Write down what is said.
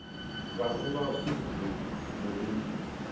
kwakuba mzuzu kulinywa